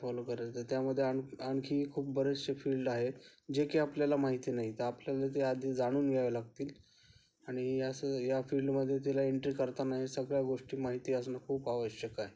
follow करायच त्यामध्ये आणखी खूप बरेचशे फील्ड आहे जे आपल्याला माहिती नाहीत आपल्याला ते आधी जाणून घ्यावे लागतील आणि अश्या फीड मध्ये एंट्री करताना सगळ्या गोष्टी माहिती असणं खूप आवश्यक आहे